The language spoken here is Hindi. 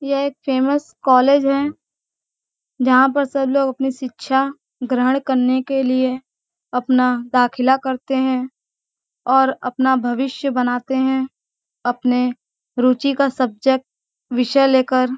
यह एक फेमस कॉलेज है | जहां पर सब लोग शिक्षा ग्रहण करने के लिए अपना दाखिला करते हैं | और अपना भविष्य बनाते हैं| अपने रुचि का सब्जेक्ट विषय लेकर|